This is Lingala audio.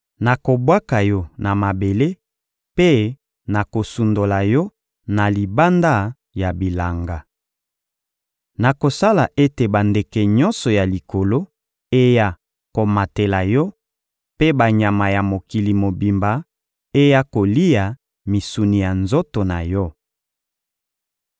Nakobwaka yo na mabele mpe nakosundola yo na libanda ya bilanga. Nakosala ete bandeke nyonso ya likolo eya komatela yo mpe banyama ya mokili mobimba eya kolia misuni ya nzoto na yo.